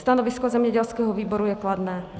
Stanovisko zemědělského výboru je kladné.